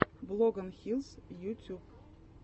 блогонхилс ютюб